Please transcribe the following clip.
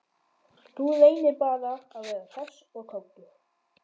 Þú reynir bara að vera hress og kátur!